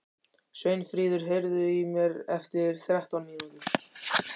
Sveinfríður, heyrðu í mér eftir þrettán mínútur.